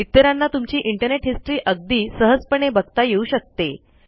इतरांना तुमची internet history अगदी सहजपणे बघता येऊ शकते